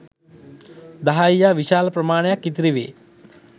දහයියා විශාල ප්‍රමාණයක් ඉතිරි වේ.